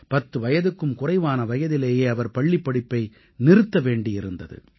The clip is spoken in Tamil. பத்து வயதுக்கும் குறைவான வயதிலேயே அவர் பள்ளிப்படிப்பை நிறுத்த வேண்டி இருந்தது